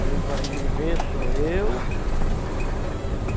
Quem vai viver sou eu.